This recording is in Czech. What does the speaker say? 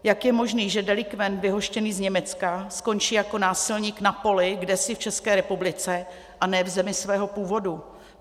Jak je možné, že delikvent vyhoštěný z Německa skončí jako násilník na poli kdesi v České republice, a ne v zemi svého původu?